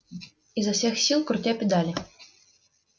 изо всех сил крутя педали